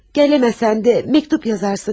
Gələ bilməsən də məktub yazarsan, deyilmi?